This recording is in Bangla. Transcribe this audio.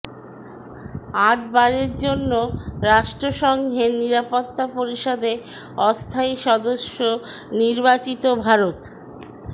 আটবারের জন্য রাষ্ট্রসংঘের নিরাপত্তা পরিষদে অস্থায়ী সদস্য নির্বাচিত ভারত